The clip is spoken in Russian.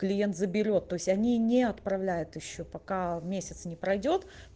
клиент заберёт то есть они не отправляют ещё пока месяц не пройдёт